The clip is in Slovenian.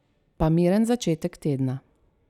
Pa miren začetek tedna!